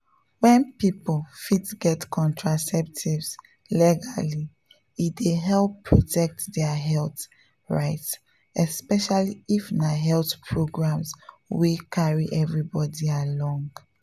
wen people fit get contraceptives legally e dey help protect dia health rights especially if na health programs wey carry everybody along